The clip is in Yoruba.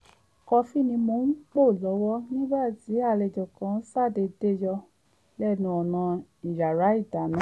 kọfí ni mò ń pò lọ́wọ́ nígbà tí alejò kan ṣàdéédé yọ lẹ́nu ọ̀nà iyàrá ìdáná